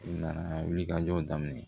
U nana wuli ka jɔ daminɛ